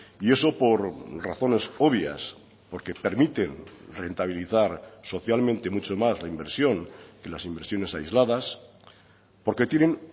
y eso por razones obvias porque permiten rentabilizar socialmente mucho más la inversión que las inversiones aisladas porque tienen